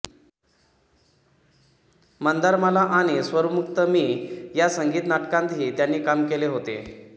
मंदारमाला आणि स्वरमुक्त मी या संगीत नाटकांतही त्यांनी काम केले होते